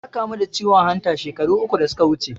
Ya kamu da ciwon hanta shekaru uku da suka wuce